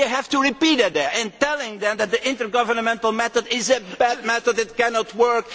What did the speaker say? You will have to repeat it there, telling them that the intergovernmental method is a bad method that cannot work.